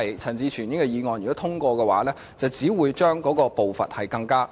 陳志全議員的議案如獲通過，只會令步伐更慢。